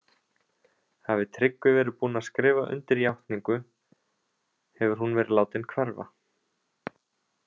Hafi Tryggvi verið búinn að skrifa undir játningu, hefur hún verið látin hverfa.